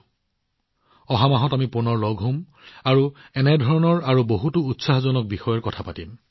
আমি অহা মাহত পুনৰ লগ পাম আৰু নিশ্চিতভাৱে এনে ধৰণৰ আৰু বহুতো উৎসাহজনক বিষয়ৰ বিষয়ে কথা পাতিম